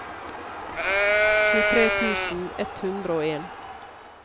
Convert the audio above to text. tjuetre tusen ett hundre og en